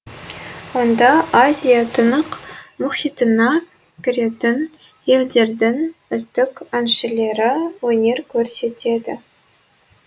онда азия тынық мұхитына кіретін елдердің үздік әншілері өнер көрсетеді